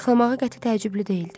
Arıqlamağı qəti təəccüblü deyildi.